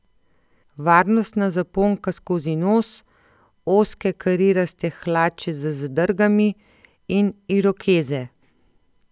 Varnostna zaponka skozi nos, ozke kariraste hlače z zadrgami in irokeze.